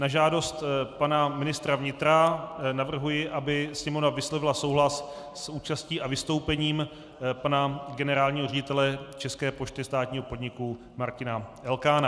Na žádost pana ministra vnitra navrhuji, aby Sněmovna vyslovila souhlas s účastí a vystoupením pana generálního ředitele České pošty státního podniku Martina Elkána.